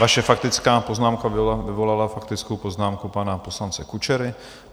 Vaše faktická poznámka vyvolala faktickou poznámku pana poslance Kučery.